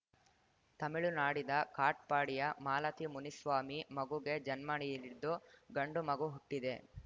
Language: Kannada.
ತಮಿಳುನಾಡಿದ ಕಾಟ್‌ಪಾಡಿಯ ಮಾಲತಿಮುನಿಸ್ವಾಮಿ ಮಗುಗೆ ಜನ್ಮ ನೀಡಿದ್ದು ಗಂಡು ಮಗು ಹುಟ್ಟಿದೆ